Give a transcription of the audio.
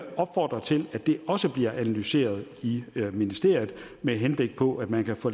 opfordre til at det også bliver analyseret i ministeriet med henblik på at man kan få